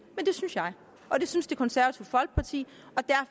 men det synes jeg og det synes det konservative folkeparti